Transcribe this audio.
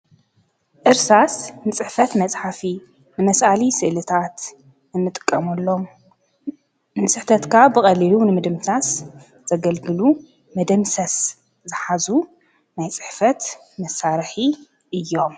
ዕርሳስ ንጽሕፈት መጽሓፊ መስዓሊ ሥእልታኣት እምጥቀሙሎም ንስሕተትካ ብቐሊሉ ንምድምታስ ዘገልግሉ መደምሰስ ዝኃዙ ማይ ጽሕፈት መሣርሒ እዮም።